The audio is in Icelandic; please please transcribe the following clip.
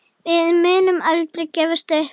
Við munum aldrei gefast upp.